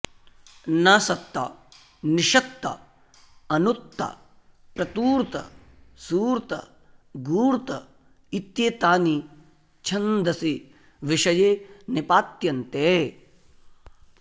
नसत्त निषत्त अनुत्त प्रतूर्त सूर्त गूर्त इत्येतानि छन्दसि विषये निपात्यन्ते